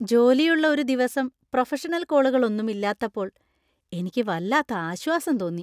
ജോലിയുള്ള ഒരു ദിവസം പ്രൊഫഷണൽ കോളുകളൊന്നും ഇല്ലാത്തപ്പോൾ എനിക്ക് വല്ലാത്ത ആശ്വാസം തോന്നി .